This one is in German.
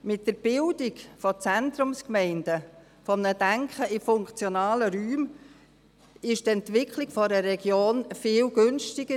Mit der Bildung von Zentrumsgemeinden, einem Denken in funktionalen Räumen ist die Entwicklung einer Region viel günstiger;